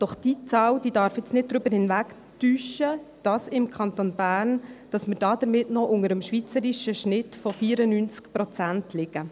Doch diese Zahl darf jetzt nicht darüber hinwegtäuschen, dass wir im Kanton Bern damit noch unter dem schweizerischen Schnitt von 94 Prozent liegen.